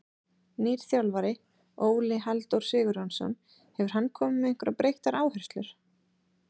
Nýr þjálfari, Óli Halldór Sigurjónsson, hefur hann komið með einhverjar breyttar áherslur?